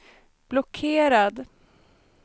blockerad